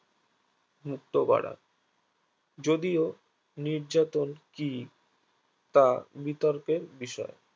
মুক্ত করা যদিও নির্যাতন কি তা বিতর্কের বিষয়